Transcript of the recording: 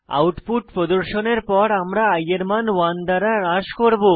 output প্রদর্শনের পর আমরা i এর মান 1 দ্বারা হ্রাস করব